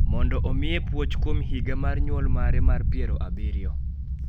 mondo omiye puoch kuom higa mar nyuol mare mar piero abiriyo.